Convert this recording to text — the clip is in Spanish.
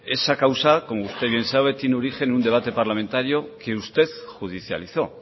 esa causa como usted bien sabe tiene origen en un debate parlamentario que usted judicializó